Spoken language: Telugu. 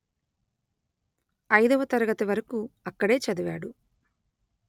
ఐదవ తరగతి వరకు అక్కడే చదివాడు